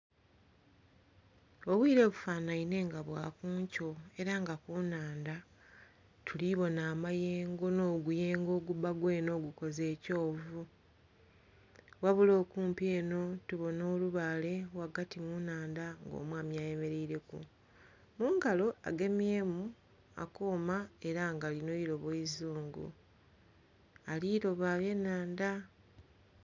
Obwire bufanhainhe nga bwakunkyo era nga ku naandha. Tuli bona amayemgo no guyengo gubba gwene ogukoze ekyovu. Wabula okumpi eno tubona olubale wagati munaandha omwami ayemereire ku. Mungalo ageimyemu akoma era nga lino irobo izungu. Aliroba bye naandha.